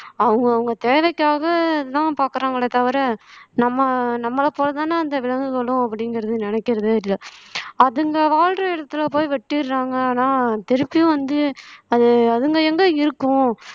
அவங்கவங்க தேவைக்காகத்தான் பார்க்கிறாங்களே தவிர நம்ம நம்மளை போலதானே அந்த விலங்குகளும் அப்படிங்கிறது நினைக்கிறதே இல்ல அதுங்க வாழுற இடத்துல போய் வெட்டிடுறாங்க ஆனா திருப்பியும் வந்து அது அதுங்க எங்க இருக்கும்